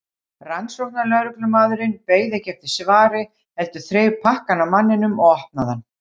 Rannsóknarlögreglumaðurinn beið ekki eftir svari heldur þreif pakkann af manninum og opnaði hann.